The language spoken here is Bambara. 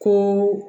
Ko